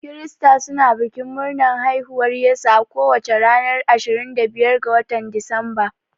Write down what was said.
Krista suna bikin murnar haihuwar Yesu a kowace ranar ashirin da biyar ga watan disamba.